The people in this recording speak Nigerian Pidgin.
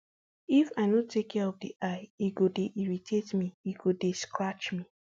if um i no take care of di eye um e go dey irritate me e go dey scratch me